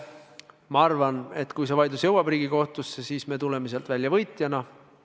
Ma arvan, et kui see vaidlus jõuab Riigikohtusse, siis me tuleme sealt välja võitjana.